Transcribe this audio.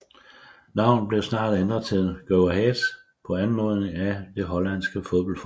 Navnet blev snart ændret til Go Ahead på anmodning af det hollandske fodboldforbund